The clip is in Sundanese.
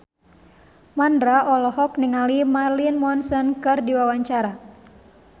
Mandra olohok ningali Marilyn Manson keur diwawancara